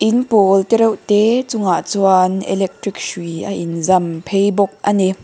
in pawl te reuh te bulah chuan electric hrui a in zam phei bawk a ni.